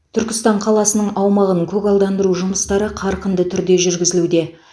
түркістан қаласының аумағын көгалдандыру жұмыстары қарқынды түрде жүргізілуде